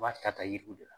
U b'a ta yiriw de la